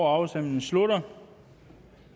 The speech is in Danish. afstemningen slutter